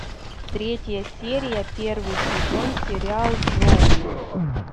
третья серия первый сезон сериал джоуи